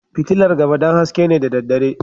Fitilar gaba don haske ne da daddare